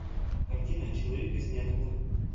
картина человек из ниоткуда